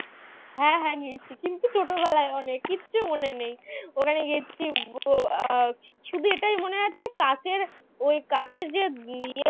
হ্যাঁ হ্যাঁ গেছি কিন্তু ছোটবেলায় অনেক কিচ্ছু মনে নেই ওখানে গেছি শুধু এটাই মনে আছে কাকের ওই কাকের যে